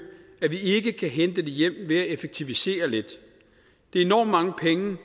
at vi ikke kan hente det hjem ved at effektivisere lidt det er enormt mange penge